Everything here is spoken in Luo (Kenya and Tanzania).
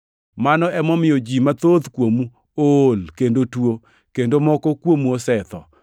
Mano emomiyo ji mathoth kuomu ool kendo tuo; kendo moko kuomu osetho.